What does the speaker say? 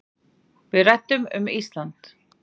Við ræddum um Ísland.